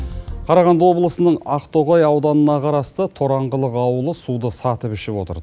қарағанды облысының ақтоғай ауданына қарасты тораңғылық ауылы суды сатып ішіп отыр